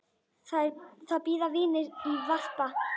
Þar bíða vinir í varpa.